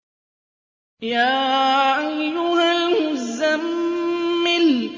يَا أَيُّهَا الْمُزَّمِّلُ